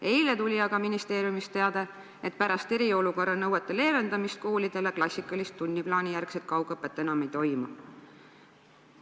Eile tuli aga ministeeriumist teade, et pärast eriolukorra nõuete leevendamist koolidele klassikalist tunniplaanijärgset kaugõpet enam ei toimu.